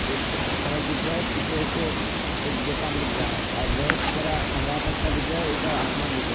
एक सड़क दिख रहा है पीछे से एक दूकान दिख रहा है और बहुत सारा हरा पत्ता दिख रहा है ऊपर आसमान दिख रहा है।